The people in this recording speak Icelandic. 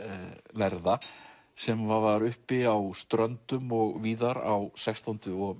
lærða sem var uppi á Ströndum og víðar á sextándu og